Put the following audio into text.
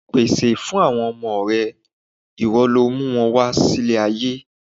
Pèsè fún àwọn ọmọ rẹ, ìwọ lọ mú wọn wá ilé ayé.